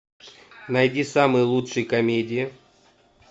найди самые лучшие комедии